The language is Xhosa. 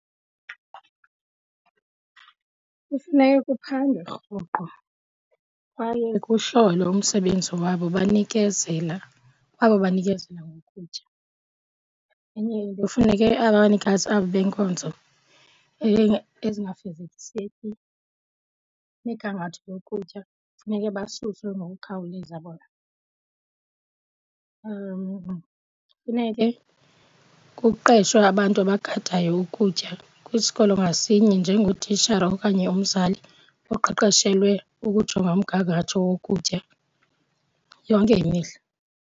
Kufuneka kuphandwe rhoqo kwaye kuhlolwe umsebenzi wabo banikezela kwabo banikezela ngokutya. Enye into efuneke abanikazi abo benkonzo ezingafezekiseki migangatho yokutya funeke basuswe ngokukhawuleza bona. Funeke kuqeshwe abantu abagadayo ukutya kwisikolo ngasinye njengotishara okanye umzali oqeqeshelwe ukujonga umgangatho wokutya yonke imihla.